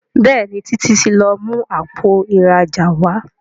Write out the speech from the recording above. Béèni Títí tí lọ mú Àpò ìrajà wá.